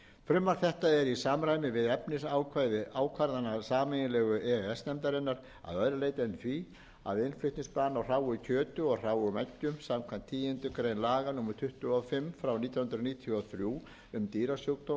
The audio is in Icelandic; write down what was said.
frumvarp þetta er í samræmi við efnisákvæði ákvarðana sameiginlegu e e s nefndarinnar að öðru leyti en því að innflutningsbann á hráu kjöti og hráum eggjum samkvæmt tíundu grein laga númer tuttugu og fimm nítján hundruð níutíu og þrjú um dýrasjúkdóma